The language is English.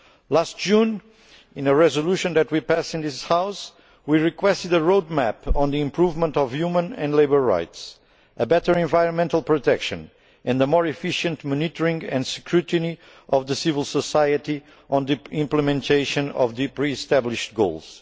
to. Last June, in a resolution that we passed in this House, we requested a roadmap for the improvement of human and labour rights, better environmental protection and a more efficient monitoring and scrutiny by civil society of the implementation of the pre established goals.